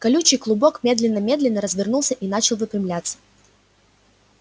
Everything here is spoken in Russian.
колючий клубок медленно-медленно развернулся и начал выпрямляться